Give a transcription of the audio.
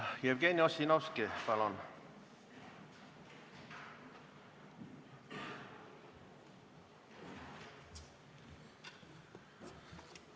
Jevgeni Ossinosvki, palun!